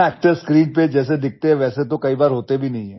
actor screen पर जैसे दिखते हैं वैसे तो कई बार होते भी नहीं हैं